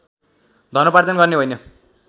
धनोपार्जन गर्ने होइन